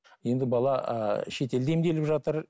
енді бала ыыы шетелде емделіп жатыр